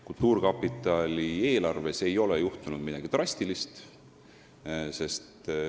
Kultuurkapitali eelarvega ei ole midagi drastilist juhtunud.